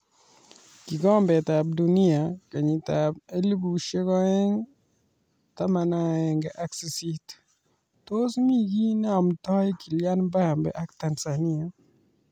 Kombe la Dunia 2018:Tos mi kiy ne amdoi Kylian Mbappe ak Tanzania?